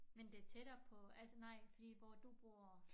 Men det tættere på altså nej fordi hvor du bor